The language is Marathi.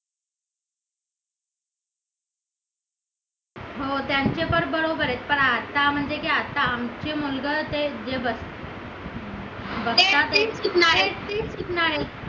हो त्यांचे पण बरोबर आहे पण आता म्हणजे की आता आमचे मुलगा तेजा